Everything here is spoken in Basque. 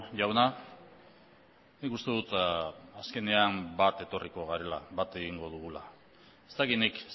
jauna nik uste dut azkenean bat etorriko garela bat egingo dugula ez dakit nik